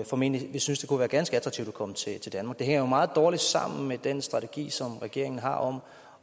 formentlig vil synes det kunne være ganske attraktivt at komme til danmark det hænger jo meget dårligt sammen med den strategi som regeringen har om